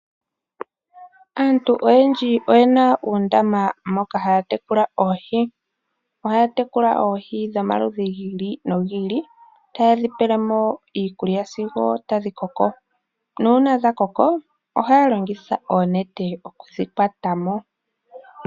Aantu oyendji oyena uundama moka haya tekula oohi. Ohaya tekula oohi dhomaludhi gi ili nogi ili, taye dhi pele mo iikulya sigo tadhi koko, nuuna dha koko ohaya longitha oonete okudhi kwata mo.